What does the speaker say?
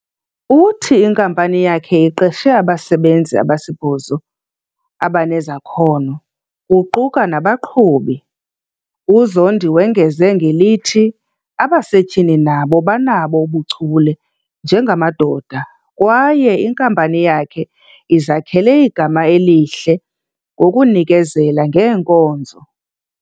Uthi inkampani yakhe iqeshe abasebenzi abasibhozo abanezakhono, kuquka nabaqhubi. UZondi wongeza ngelithi, abasetyhini nabo banabo ubuchule njengamadoda kwaye inkampani yakhe izakhele igama elihle ngokunikezela ngeenkonzo.